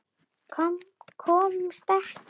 Komust ekkert.